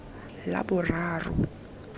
laboraro